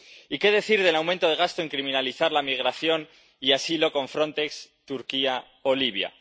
Y, ¿qué decir del aumento del gasto en criminalizar la migración y el asilo con Frontex, Turquía o Libia?